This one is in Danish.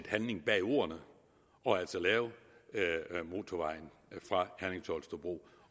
handling bag ordene og altså lave motorvejen fra herning holstebro